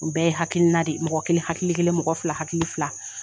O bɛ hakilina de ye mɔgɔ kelen hakili kelen mɔgɔ fila hakili fila